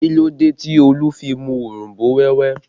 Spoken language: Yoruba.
Kí ló dé tí Olu fi mu òronbó wẹ́wẹ́